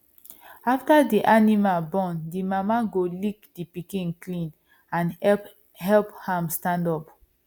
after the animal born the mama go lick the pikin clean and help help am stand up